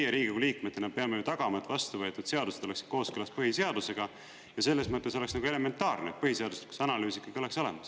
Meie Riigikogu liikmetena peame tagama, et vastuvõetud seadused oleksid kooskõlas põhiseadusega ja selles mõttes oleks elementaarne, et põhiseaduslikkuse analüüs ikkagi oleks olemas.